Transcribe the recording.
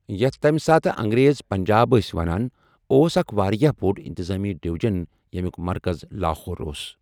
یَتھ تَمہِ ساتہٕ انٛگریز پنٛجاب ٲسۍ وَنان، اوس اَکھ واریاہ بوٚڈ اِنتِظٲمی ڈِۄجن ، ییٚمیُوک مرکز لاہور اوس۔